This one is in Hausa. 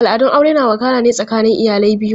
Al'adun aure na wakana ne tsakanin iyalai biyu.